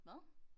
Hvad?